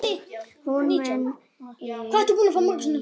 Hún muni aukast!